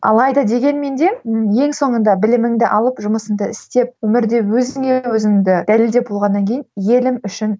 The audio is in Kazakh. алайда дегенмен де ең соңында біліміңді алып жұмысыңды істеп өмірде өзіңе өзіңді дәлелдеп болғаннан кейін елім үшін